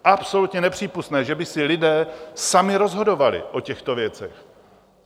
Absolutně nepřípustné, že by si lidé sami rozhodovali o těchto věcech.